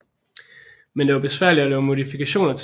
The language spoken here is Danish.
Men det var besværligt at lave modifikationer til spillet